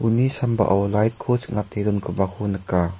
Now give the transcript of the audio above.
uni sambao light-ko ching·ate dongipako nika.